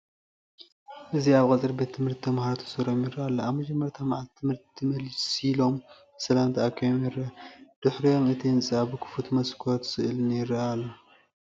እዚ ኣብ ቀጽሪ ቤት ትምህርቲ፡ ተማሃሮ ተሰሪዖም ይረአ ኣሎ። ኣብ መጀመርታ መዓልቲ ትምህርቲ መሲሎም ብሰላም ተኣኪቦም ይረኣዩ። ድሒሮም፡ እቲ ህንጻ ብክፉት መስኮትን ስእልን ይርአ ኣሎ።